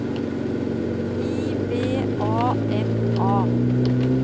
I V A N A